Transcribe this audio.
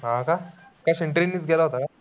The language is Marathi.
कशाने? train नीच गेला होता का?